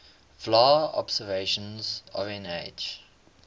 vla observations of nh